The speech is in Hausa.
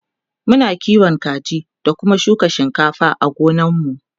Muna kiwon kaji da Kuma shuka shinkafa a gonar mu